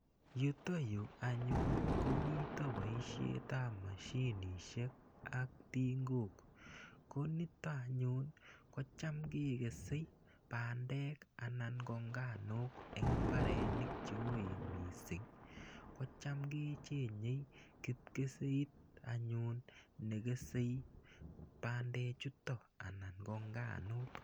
Yutayu anyun ko mita poishet ap moshinishek ak tingok. Ko nito anyun ko cham kekesei pandek anan ko nganuk eng' mbaronik che oen missing'. Ko cham ke cheng'e kipkeseit anyun ne kesei pandechutok anan ko nganuuk.